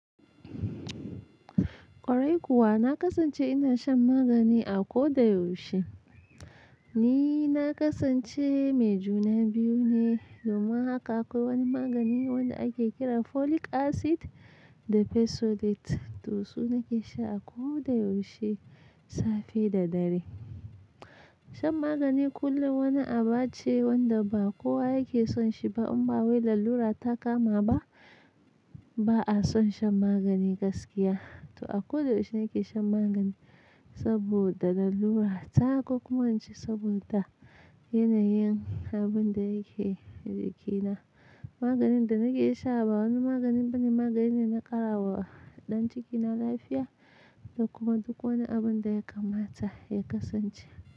Kwarai kuwa, na kasance ina shan magani a koda yaushe. Ni na kasance mai juna biyu ne, domin haka akwai wani magani wanda ake kira folic acid da fesolate. To su nake sha a koda yaushe, safe da dare. Shan magani kullum wani aba ce wanda ba kowa yake son shi ba. In ba wai lallura ta kama ba, ba a son shan magani gaskiya. To a koda yaushe nake shan magani saboda lallura. Ta hakko kuma an ce saboda yanayin abin da yake jikina. Maganin da nake sha ba wani magani bane. Magani ne na ƙara wa ɗan cikina lafiya da kuma duk wani abin da ya kamata ya kasance.